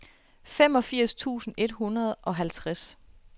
femogfirs tusind et hundrede og halvtreds